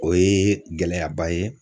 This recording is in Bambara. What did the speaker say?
O ye gɛlɛyaba ye.